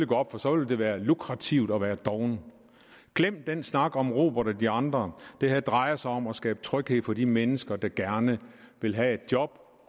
gå op for så vil det være lukrativt at være doven glem den snak om robert og de andre det her drejer sig om at skabe tryghed for de mennesker der gerne vil have et job